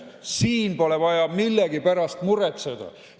Siin polevat vaja millegi pärast muretseda.